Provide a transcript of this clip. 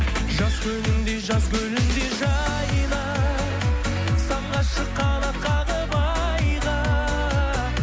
жаз күніңдей жаз гүліндей жайна самғашы қанат қағып айға